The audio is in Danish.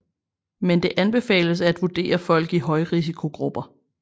Men det anbefales at vurdere folk i højrisikogrupper